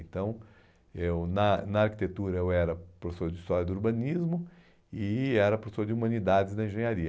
Então, eu na na arquitetura eu era professor de história do urbanismo e era professor de humanidades na engenharia.